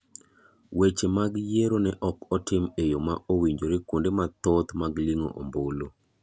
Weche mag yiero ne ok otim e yo ma owinjore kuonde mathoth mag lingo ombulu.